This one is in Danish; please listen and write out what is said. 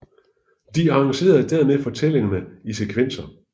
De arrangere dermed fortællingerne i sekvenser